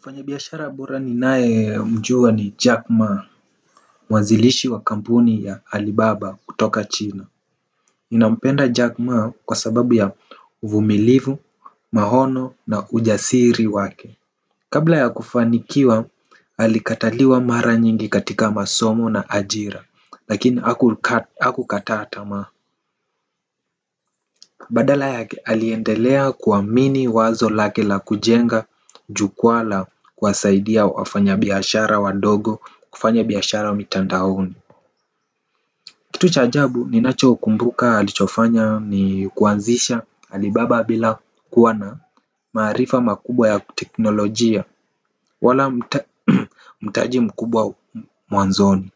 Mfanyibiashara bora ninae mjua ni Jack Ma. Mwanzilishi wa kampuni ya Alibaba kutoka China ninampenda jack ma kwa sababu ya uvumilivu maono na ujasiri wake. Kabla ya kufanikiwa alikataliwa mara nyingi katika masomo na ajira lakini hakukata tamaa. Badala yake aliendelea kuamini wazo lake la kujenga jukwaa la kuwasaidia wafanya biashara wadogo kufanya biashara mitandaoni. Kitu cha jabu ninacho kumbuka alichofanya ni kuanzisha alibaba bila kuwa na maarifa makubwa ya teknolojia wala mtaji mkubwa mwanzoni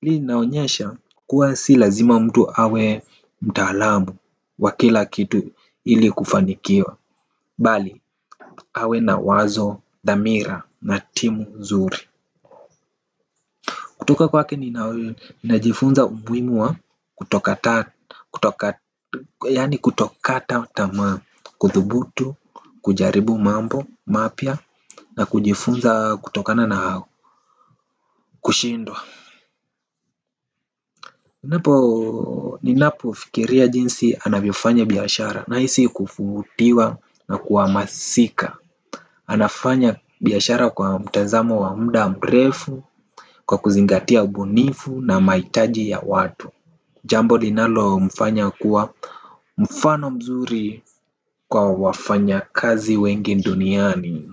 hii inaonyesha kuwa si lazima mtu awe mtaalamu wa kila kitu ili kufanikiwa. Bali awe na wazo dhamira na timu nzuri. Kutoka kwake ninajifunza umuhimu wa kutokata yani kutokata tama kuthubutu kujaribu mambo mapya na kujifunza kutokana na kushindwa. Ninapo ninapo fikiria jinsi anavyofanya biashara nahisi kuvutiwa na ku hamasika. Anafanya biashara kwa mtazamo wa muda mrefu. Kwa kuzingatia ubunifu na mahitaji ya watu jambo linalo mfanya kuwa mfano mzuri kwa wafanya kazi wengi duniani.